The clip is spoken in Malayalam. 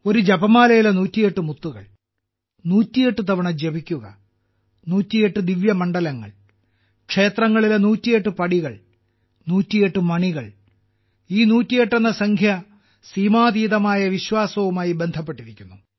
ഒരു ജപമാലയിലെ 108 മുത്തുകൾ 108 തവണ ജപിക്കുക 108 ദിവ്യമണ്ഡലങ്ങൾ ക്ഷേത്രങ്ങളിലെ 108 പടികൾ 108 മണികൾ ഈ 108 എന്ന സംഖ്യ സീമാതീതമായ വിശ്വാസവുമായി ബന്ധപ്പെട്ടിരിക്കുന്നു